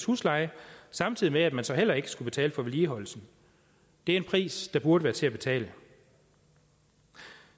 husleje samtidig med at man så heller ikke skulle betale for vedligeholdelsen det er en pris der burde være til at betale